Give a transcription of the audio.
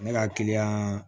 Ne ka kiliyan